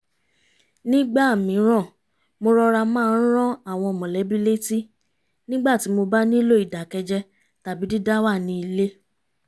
nígbà mìíràn mo rọra máa ń rán àwọn mọ̀lẹ́bí létí nígbà tí mo bá nílò ìdákẹ́jẹ́ tàbí dídáwà ní ilé